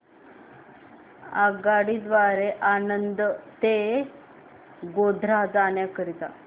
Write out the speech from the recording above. आगगाडी द्वारे आणंद ते गोध्रा जाण्या करीता